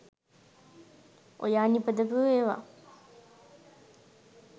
ඔයා නිපදවපු ඒවා